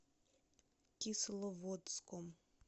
кисловодском